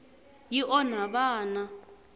yi onha vana